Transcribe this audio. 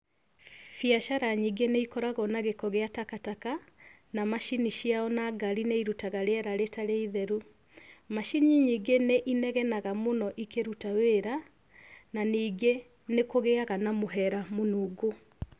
Biacara nyingĩ nĩ ikoragwo na gĩko gĩa takataka, na macini ciao na ngari nĩirutaga rĩera rĩtarĩ itheru. Macini nyingĩ nĩ inegenaga mũno ikĩruta wĩra, na ningĩ nĩkũgĩaga na mũhera mũnungu.